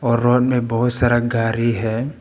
और रोड में बहुत सारा गाड़ी है।